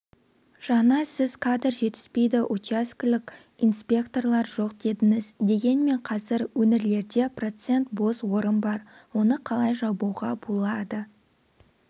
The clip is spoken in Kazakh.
жаңа сіз кадр жетіспейді учаскелік инспекторлар жоқ дедіңіз дегенмен қазір өңірлерде процент бос орын бар оны қалай жабуға болады